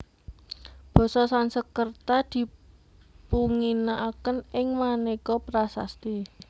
Basa Sanskerta dipunginakaken ing maneka prasasti